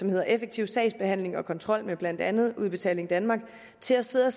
med effektiv sagsbehandling og kontrol med blandt andet udbetaling danmark til at sidde og